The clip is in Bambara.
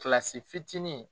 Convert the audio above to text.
Kilasi fitinin